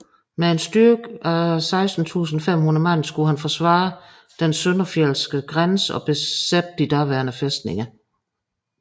Med en styrke af 16500 mand skulle han forsvare den søndenfjeldske grænse og besætte de daværende fæstninger